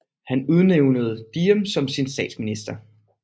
Han udnævnte Diệm som sin statsminister